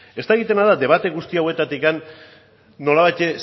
ez dakidana da debate guzti hauetatik nolabait